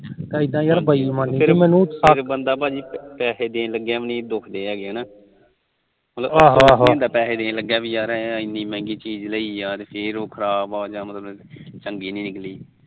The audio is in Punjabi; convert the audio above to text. ਫਿਰ ਬੰਦਾ ਭਾਜੀ ਪੈਹੇ ਦੇਣ ਲੱਗਿਆ ਵੀ ਨੀ ਦੁਖਦੇ ਹੈਗੇ ਕੁਛ ਹੁੰਦਾ ਯਾਰ ਪੈਹੇ ਇਨੀ ਮਹਿਗੀ ਚੀਜ ਲਈ ਫਿਰ ਉਹ ਖਰਾਬ ਚੰਗੀ ਨੀ ਨਿਕਲੀ